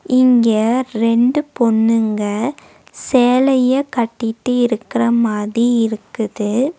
இங்க ரெண்டு பொண்ணுங்க சேலைய கட்டிட்டு இருக்குற மாதி இருக்குது.